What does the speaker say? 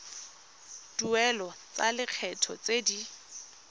dituelo tsa lekgetho tse di